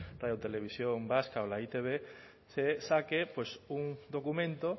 radio televisión vasca o la e i te be usted saque pues un documento